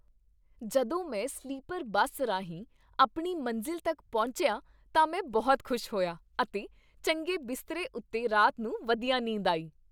ਜਦੋਂ ਮੈਂ sleeper bus ਰਾਹੀਂ ਆਪਣੀ ਮੰਜ਼ਿਲ ਤੱਕ ਪਹੁੰਚਿਆ ਤਾਂ ਮੈਂ ਬਹੁਤ ਖੁਸ਼ ਹੋਇਆ ਅਤੇ ਚੰਗੇ ਬਿਸਤਰੇ ਉੱਤੇ ਰਾਤ ਨੂੰ ਵਧੀਆ ਨੀਂਦ ਆਈ।